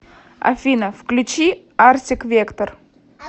афина включи арсик вектор